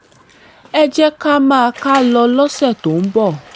ẹ jẹ́ ká máa kà á lọ lọ́sẹ̀ tó ń bọ̀